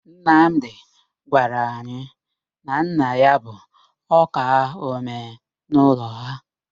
Nnamdị gwara anyị na nna ya bụ ọ́kaa ọmee n'ụlọ ha.